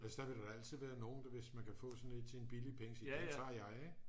altså der vil da altid være nogen der hvis man kan få sådan et til en billig penge sige det tager jeg ik